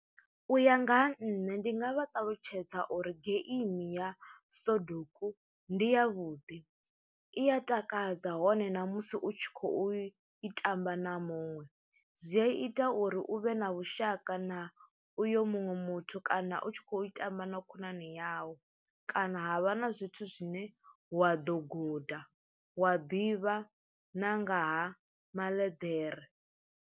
U ya nga ha nṋe ndi nga vha ṱalutshedza uri geimi ya soduku ndi ya vhuḓi, i ya takadza hone ṋamusi u tshi khou i tamba na muṅwe zwi a ita uri u vhe na vhushaka na uyo muṅwe muthu kana u tshi khou tamba na khonani yau kana ha vha na zwithu zwine wa ḓo guda wa ḓivha na ngaha maḽeḓere.